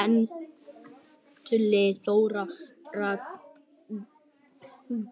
Andlit Þórhildar